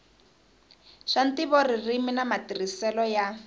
swa ntivoririmi na matirhiselo ya